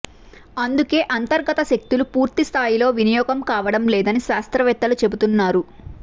అందుకే అంతర్గత శక్తులు పూర్తి స్థాయిలో వినియోగం కావడంలేదని శాస్త్రవేత్తలు చెబుతున్నారు